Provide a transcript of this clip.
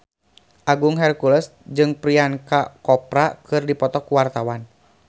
Agung Hercules jeung Priyanka Chopra keur dipoto ku wartawan